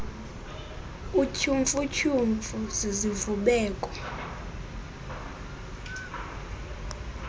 utyhumfu tyhumfu zizivubeko